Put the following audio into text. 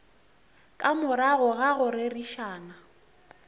ka morago ga go rerišana